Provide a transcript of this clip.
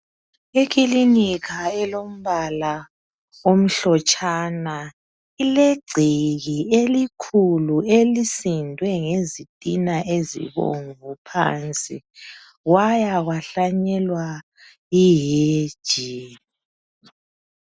Ikilinika elombala omhlotshana ilegceke elikhulu elisindwe ngezitina ezibomvu phansi kwaya kwahlanyelwa ihedge.